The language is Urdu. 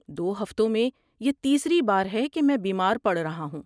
دو ہفتوں میں یہ تیسری بار ہے کہ میں بیمار پڑ رہا ہوں۔